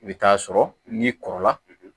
I bɛ taa sɔrɔ n'i kɔrɔla